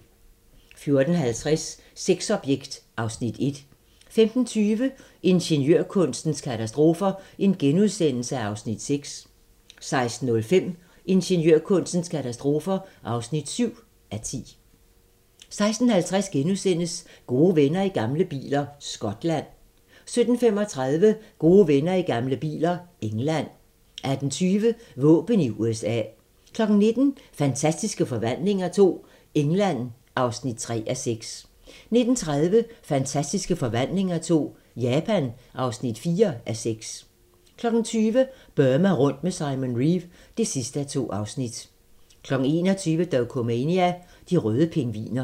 14:50: Sexobjekt (Afs. 1) 15:20: Ingeniørkunstens katastrofer (6:10)* 16:05: Ingeniørkunstens katastrofer (7:10) 16:50: Gode venner i gamle biler - Skotland * 17:35: Gode venner i gamle biler - England 18:20: Våben i USA 19:00: Fantastiske Forvandlinger II - England (3:6) 19:30: Fantastiske Forvandlinger II - Japan (4:6) 20:00: Burma rundt med Simon Reeve (2:2) 21:00: Dokumania: De røde pingviner